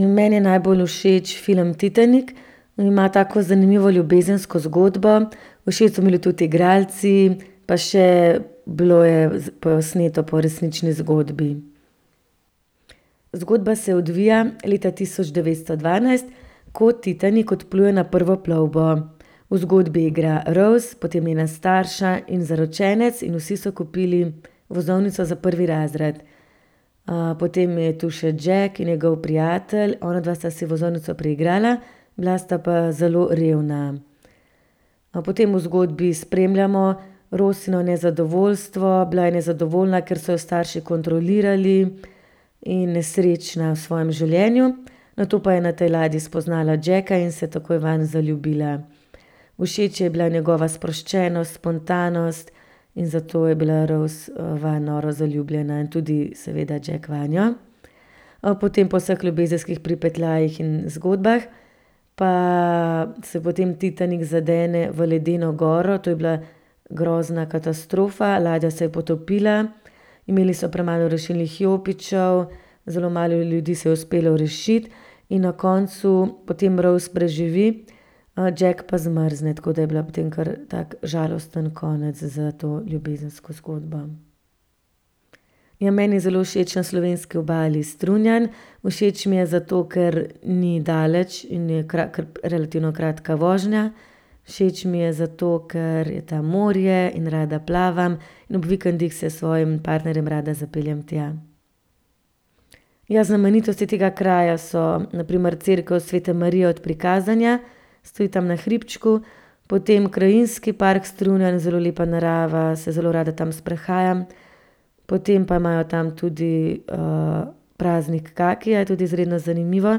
meni je najbolj všeč film Titanik. Ima tako zanimivo ljubezensko zgodbo, všeč so mi bili tudi igralci. Pa še bilo je posneto po resnični zgodbi. Zgodba se odvija leta tisoč devetsto dvanajst, ko Titanik odpluje na prvo plovbo. V zgodbi igra Rose, potem njena starša in zaročenec in vsi so kupili vozovnico za prvi razred. potem je tu še Jack in njegov prijatelj, onadva sta si vozovnico priigrala. Bila sta pa zelo revna. Potem v zgodbi spremljamo Rosino nezadovoljstvo, bila je nezadovoljna, ker so jo starši kontrolirali, in nesrečna v svojem življenju. Nato pa je na tej ladji spoznala Jacka in se takoj vanj zaljubila. Všeč ji je bila njegova sproščenost, spontanost, in zato je bila Rose, vanj noro zaljubljena in tudi seveda Jack vanjo. potem po vseh ljubezenskih pripetljajih in zgodbah pa se potem Titanik zadene v ledeno goro, to je bila grozna katastrofa, ladja se je potopila. Imeli so premalo rešilnih jopičev, zelo malo ljudi se je uspelo rešiti. In na koncu potem Rose preživi, Jack pa zmrzne, tako da je bila potem kar tak žalosten konec za to ljubezensko zgodbo. Ja, meni je zelo všeč na slovenski obali Strunjan. Všeč mi je zato, ker ni daleč in je relativno kratka vožnja. Všeč mi je zato, ker je tam morje in rada plavam in ob vikendih se s svojim partnerjem rada zapeljem tja. Ja, znamenitosti tega kraja so na primer cerkev Svete Marije od prikazanja, stoji tam na hribčku, potem Krajinski park Strunjan, zelo lepa narava, se zelo rada tam sprehajam. Potem pa imajo tam tudi, praznik kakija, tudi izredno zanimivo.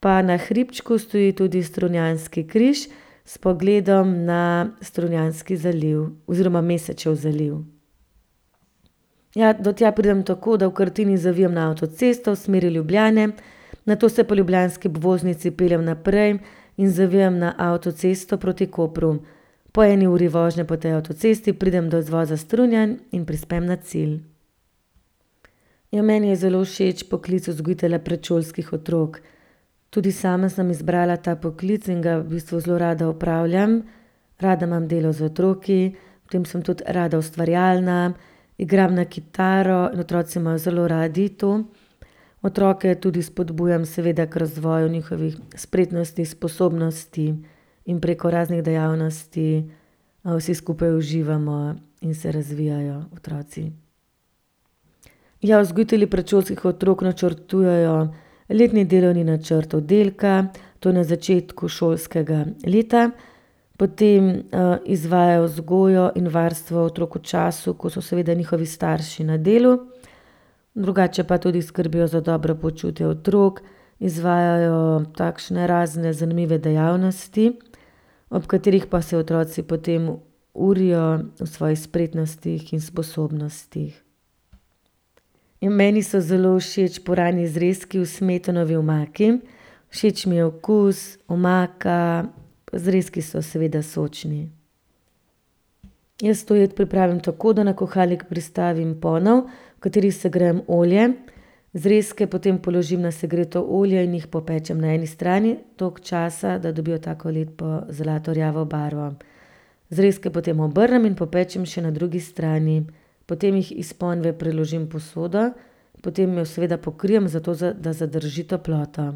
Pa na hribčku stoji tudi strunjanski križ s pogledom na Strunjanski zaliv oziroma Mesečev zaliv. Ja, do tja pridem tako, da v Krtini zavijem na avtocesto v smeri Ljubljane, nato se po ljubljanski obvoznici peljem naprej in zavijem na avtocesto proti Kopru. Po eni uri vožnje po tej avtocesti pridem do izvoza Strunjan in prispem na cilj. Ja, meni je zelo všeč poklic vzgojitelja predšolskih otrok. Tudi sama sem izbrala ta poklic in ga v bistvu zelo rada opravljam. Rada imam delo z otroki, potem sem tudi rada ustvarjalna, igram na kitaro in otroci imajo zelo radi to. Otroke tudi spodbujam seveda k razvoju njihovih spretnosti, sposobnosti in preko raznih dejavnosti, vsi skupaj uživamo in se razvijajo otroci. Ja, vzgojitelji predšolskih otrok načrtujejo letni delovni načrt oddelka, to na začetku šolskega leta. Potem, izvajajo vzgojo in varstvo otrok v času, ko so seveda njihovi starši na delu. Drugače pa tudi skrbijo za dobro počutje otrok, izvajajo takšne razne zanimive dejavnosti, ob katerih pa se otroci potem urijo v svojih spretnostih in sposobnostih. Meni so zelo všeč puranji zrezki v smetanovi omaki. Všeč mi je okus, omaka, pa zrezki so seveda sočni. Jaz to jed pripravim tako, da na kuhalnik pristavim ponev, v kateri segrejem olje. Zrezke potem položim na segreto olje in jih popečem na eni strani toliko časa, da dobijo tako lepo zlatorjavo barvo. Zrezke potem obrnem in popečem še na drugi strani. Potem jih iz ponve preložim v posodo, potem jo seveda pokrijem, zato da zadrži toploto.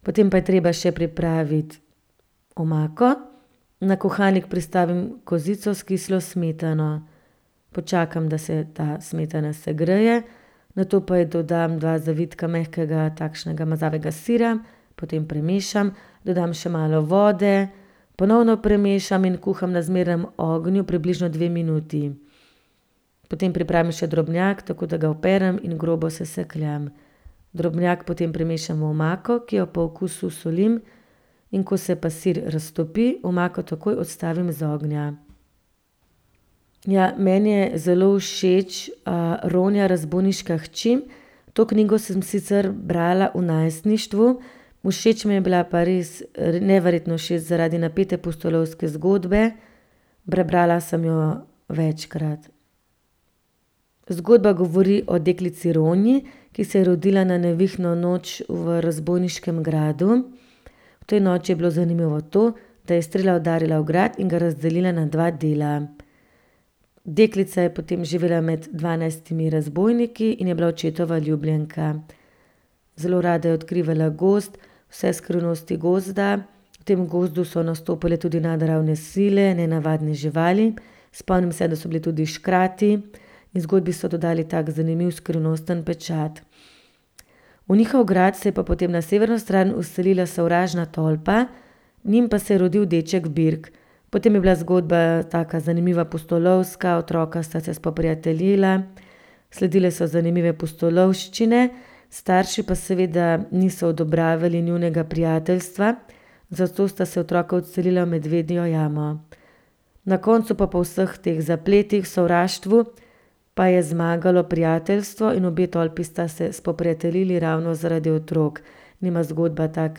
Potem pa je treba še pripraviti omako. Na kuhalnik pristavim kozico s kislo smetano. Počakam, da se ta smetana segreje, nato pa ji dodam dva zavitka mehkega, takšnega mazavega sira. Potem premešam, dodam še malo vode, ponovno premešam in kuham na zmernem ognju približno dve minuti. Potem pripravim še drobnjak tako, da ga operem in grobo sesekljam. Drobnjak potem primešam v omako, ki jo po okusu solim, in ko se pa sir raztopi, omako takoj odstavim iz ognja. Ja, meni je zelo všeč, Ronja, razbojniška hči. To knjigo sem sicer brala v najstništvu, všeč mi je bila pa res, neverjetno všeč zaradi napete pustolovske zgodbe. Prebrala sem jo večkrat. Zgodba govori o deklici Ronji, ki se je rodila na nevihtno noč v razbojniškem gradu. V tej noči je bilo zanimivo to, da je strela udarila v grad in ga razdelila na dva dela. Deklica je potem živela med dvanajstimi razbojniki in je bila očetova ljubljenka. Zelo rada je odkrivala gozd, vse skrivnosti gozda. V tem gozdu so nastopale tudi nadnaravne sile, nenavadne živali. Spomnim se, da so bili tudi škrati. Zgodbi so dodali tak zanimivo skrivnosten pečat. V njihov grad se je pa potem na severno stran vselila sovražna tolpa, njim pa se je rodil deček Birk. Potem je bila zgodba taka zanimiva, pustolovska, otroka sta se spoprijateljila. Sledile so zanimive pustolovščine. Starši pa seveda niso odobravali njunega prijateljstva, zato sta se otroka odselila v medvedjo jamo. Na koncu pa po vseh teh zapletih, sovraštvu, pa je zmagalo prijateljstvo in obe tolpi sta se spoprijateljili ravno zaradi otrok. In ima zgodba tak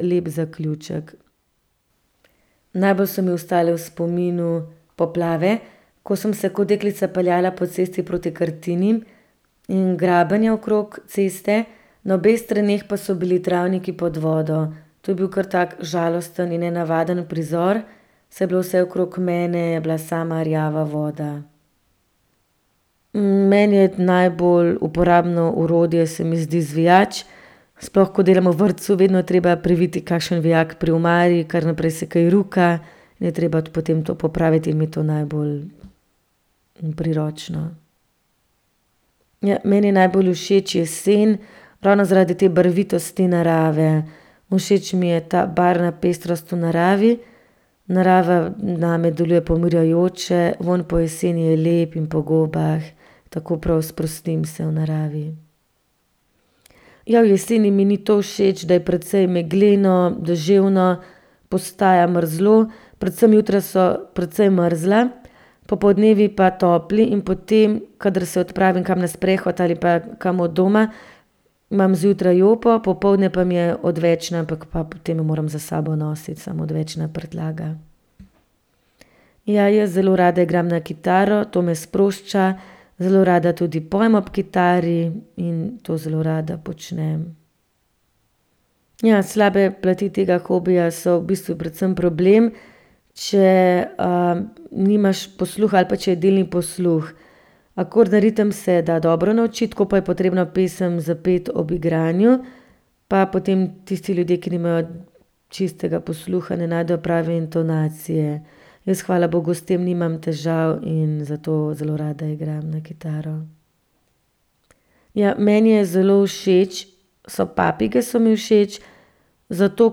lep zaključek. Najbolj so mi ostale v spominu poplave. Ko sem se kot deklica peljala po cesti proti Krtini, in graben je okrog ceste, na obeh straneh pa so bili travniki pod vodo. To je bil kar tak žalosten in nenavaden prizor, saj je bilo vse okrog mene je bila sama rjava voda. Meni je najbolj uporabno orodje se mi zdi izvijač. Sploh ko delam v vrtcu, vedno je treba priviti kakšen vijak pri omari, kar naprej se kaj ruka. Je treba potem to popraviti in mi je to najbolj priročno. Ja, meni je najbolj všeč jesen ravno zaradi te barvitosti narave. Všeč mi je ta barvna pestrost v naravi, narava name deluje pomirjajoče, vonj po jeseni je lep, in po gobah. Tako prav sprostim se v naravi. Ja, v jeseni mi ni to všeč, da je precej megleno, deževno, postaja mrzlo, predvsem jutra so precej mrzla, popoldnevi pa topli in potem, kadar se odpravim kam na sprehod ali pa kam od doma, imam zjutraj jopo, popoldne pa mi je odvečna, pa potem jo moram s sabo nositi, samo odvečna prtljaga. Ja, jaz zelo rada igram na kitaro, to me sprošča. Zelo rada tudi pojem ob kitari in to zelo rada počnem. Ja, slabe plati tega hobija so v bistvu predvsem problem, če, nimaš posluha ali pa če je delni posluh. Akorde, ritem se da dobro naučiti, ko pa je potrebno pesem zapeti ob igranju, pa potem tisti ljudje, ki nimajo čistega posluha, ne najdejo prave intonacije. Jaz hvala bogu s tem nimam težav in zato zelo rada igram na kitaro. Ja, meni je zelo všeč so, papige so mi všeč, zato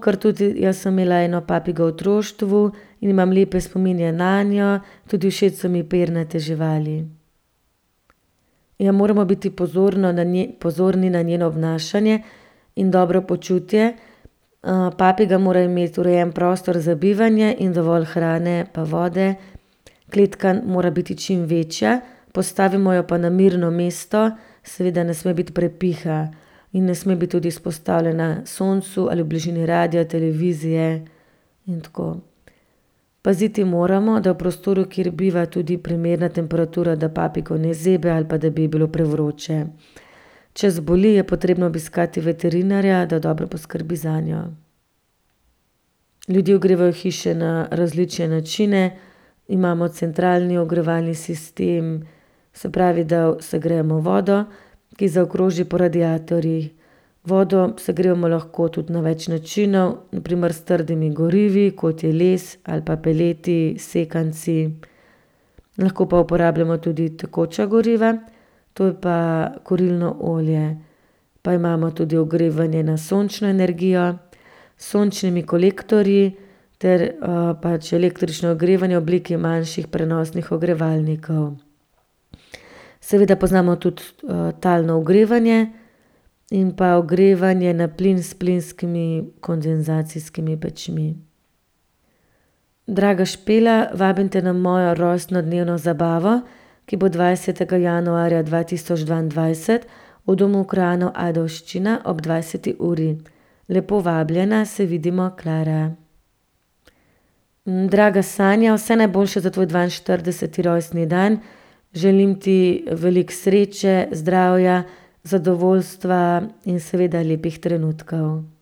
ker tudi jaz sem imela eno papigo v otroštvu in imam lepe spomine nanjo, tudi všeč so mi pernate živali. Ja, moramo biti pozorno na pozorni na njeno obnašanje in dobro počutje. papiga mora imeti urejen prostor za bivanje in dovolj hrane pa vode. Kletka mora biti čim večja, postavimo jo pa na mirno mesto, seveda ne sme biti prepiha in ne sme biti tudi izpostavljena soncu ali bližini radia, televizije in tako. Paziti moramo, da je v prostoru, kjer biva, tudi primerna temperatura, da papigo ne zebe ali pa da bi ji bilo prevroče. Če zboli, je potrebno obiskati veterinarja, da dobro poskrbi zanjo. Ljudje ogrevajo hiše na različne načine. Imamo centralni ogrevalni sistem, se pravi, da segrejemo vodo, ki zaokroži po radiatorjih. Vodo segrevamo lahko tudi na več načinov, na primer s trdimi gorivi, kot je les, ali pa peleti, sekanci. Lahko pa uporabljamo tudi tekoča goriva, to je pa kurilno olje. Pa imamo tudi ogrevanje na sončno energijo s sončnimi kolektorji ter, pač električno ogrevanje v obliki manjših prenosnih ogrevalnikov. Seveda poznamo tudi, talno ogrevanje in pa ogrevanje na plin s plinskimi kondenzacijskimi pečmi. Draga Špela, vabim te na mojo rojstnodnevno zabavo, ki bo dvajsetega januarja dva tisoč dvaindvajset v Domu krajanov Ajdovščina ob dvajseti uri. Lepo vabljena, se vidimo. Klara. Draga Sanja, vse najboljše za tvoj dvainštirideseti rojstni dan. Želim ti veliko sreče, zdravja, zadovoljstva in seveda lepih trenutkov.